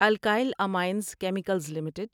alkyl amines chemicals limited